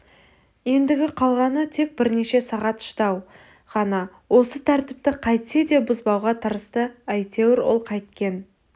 ендігі қалғаны тек бірнеше сағат шыдау ғана осы тәртіпті қайтсе де бұзбауға тырысты әйтеуір ол қайткен